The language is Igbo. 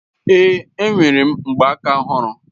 Èé, e nwere m mgbaaka ọhụrụ